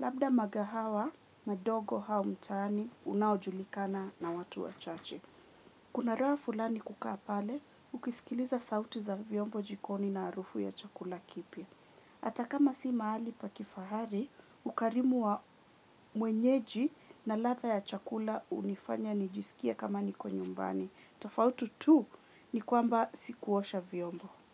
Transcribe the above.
Labda magahawa madogo hau mtaani unaojulikana na watu wa chache. Kunaraa fulani kukaa pale, ukisikiliza sauti za vyombo jikoni na arufu ya chakula kipya. Atakama si mahali pa kifahari, ukarimu wa mwenyeji na latha ya chakula unifanya nijisikia kama niko nyumbani. Tofauti tu ni kwamba sikuosha vyombo.